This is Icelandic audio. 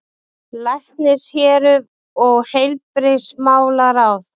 LÆKNISHÉRUÐ OG HEILBRIGÐISMÁLARÁÐ